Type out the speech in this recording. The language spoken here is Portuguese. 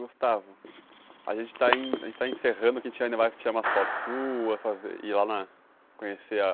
Gustavo, a gente está em a gente está encerrando, que a gente ainda vai tirar umas fotos suas e ir lá conhecer a...